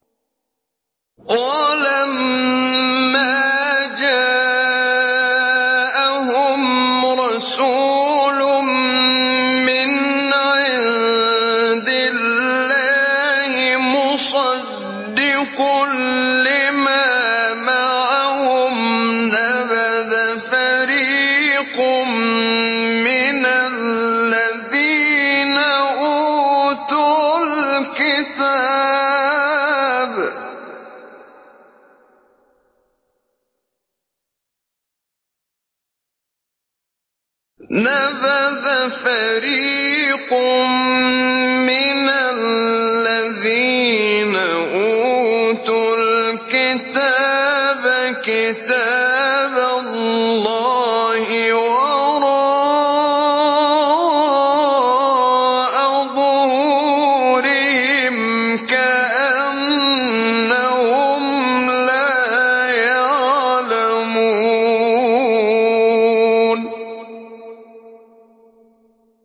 وَلَمَّا جَاءَهُمْ رَسُولٌ مِّنْ عِندِ اللَّهِ مُصَدِّقٌ لِّمَا مَعَهُمْ نَبَذَ فَرِيقٌ مِّنَ الَّذِينَ أُوتُوا الْكِتَابَ كِتَابَ اللَّهِ وَرَاءَ ظُهُورِهِمْ كَأَنَّهُمْ لَا يَعْلَمُونَ